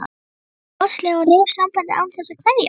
spurði hún háðslega og rauf sambandið án þess að kveðja.